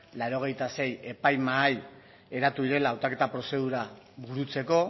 laurogeita sei epaimahai eratu direla hautaketa prozedura burutzeko